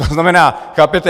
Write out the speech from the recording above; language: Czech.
To znamená - chápete...?